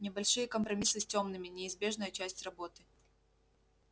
небольшие компромиссы с тёмными неизбежная часть работы